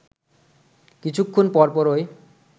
কিছুক্ষণ পরপরই